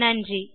நன்றி